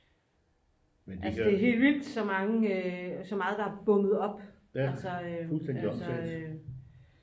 altså det er helt vildt så meget der er bundet op altså